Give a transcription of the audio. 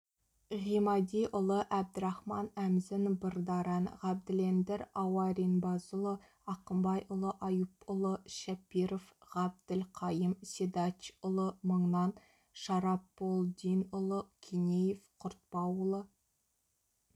ғимадиұлы әбдірахман әмзін бырдаран ғабділлендір ауаринбазыұлы ақымбайұлы аюпұлы шепиров ғабділқайым седачұлы мыңнан шараполдинұлы кинеев құртапулы